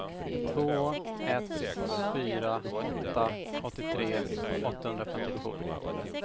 två ett fyra åtta åttiotre åttahundrafemtiotvå